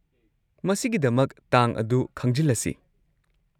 ꯃꯁꯤꯒꯤꯗꯃꯛ ꯇꯥꯡ ꯑꯗꯨ ꯈꯪꯖꯤꯜꯂꯁꯤ꯫